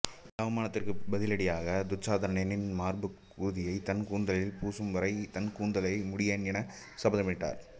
இந்த அவமானத்திற்கு பதிலடியாக துச்சாதனனின் மார்பு குருதியை தன் கூந்தலில் பூசும் வரை தன் கூந்தலை முடியேன் என சபதமிட்டார்